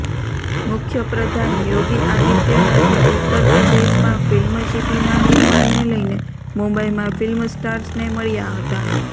મુખ્ય પ્રધાન યોગી આદિત્યનાથે ઉત્તર પ્રદેશમાં ફિલ્મ સિટીના નિર્માણને લઈને મુંબઇમાં ફિલ્મ સ્ટાર્સને મળ્યા હતા